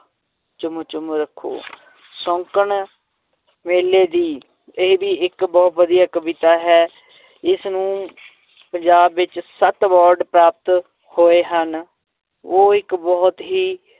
ਚੁੰਮ ਚੁੰਮ ਰੱਖੋ ਸ਼ੌਂਕਣ ਮੇਲੇ ਦੀ ਇਹ ਵੀ ਇੱਕ ਬਹੁਤ ਵਧੀਆ ਕਵਿਤਾ ਹੈ ਇਸਨੂੰ ਪੰਜਾਬ ਵਿੱਚ ਸੱਤ award ਪ੍ਰਾਪਤ ਹੋਏ ਹਨ, ਉਹ ਇੱਕ ਬਹੁਤ ਹੀ